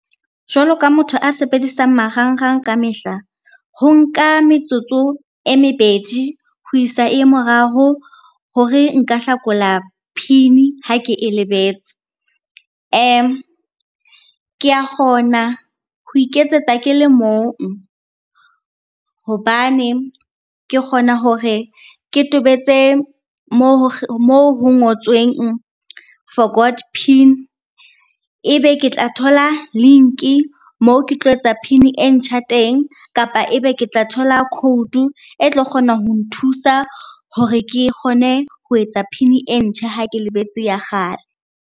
Jwalo ka motho a sebedisang marangrang ka mehla. Ho nka metsotso e mebedi ho isa e ye moraro hore nka hlakola PIN ha ke e lebetse. Ke a kgona ho iketsetsa ke le mong hobane ke kgona hore ke tobetse moo ho ngotsweng forgot PIN. Ebe ke tla thola link-i moo ke tlo etsa PIN e ntjha teng, kapa ebe ke tla thola quote-o e tlo kgona ho nthusa hore ke kgone ho etsa PIN e ntjha ha ke lebetse ya kgale.